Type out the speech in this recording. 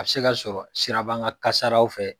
A bɛ se ka sɔrɔ sirabanka kasaraw fɛ